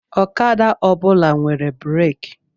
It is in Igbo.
Okada ọ bụla nwere breeki.